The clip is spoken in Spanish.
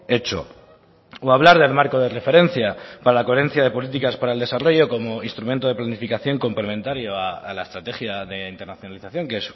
hecho o hablar del marco de referencia para la coherencia de políticas para el desarrollo como instrumento de planificación complementario a la estrategia de internacionalización que